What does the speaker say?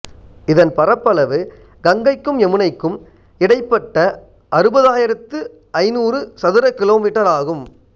இதன் பரப்பளவு கங்கைக்கும் யமுனைக்கும் இடைப்பட்ட அறுபதாயிரத்து ஐந்நூறு சதுரகிலோ மீட்டர் ஆகும்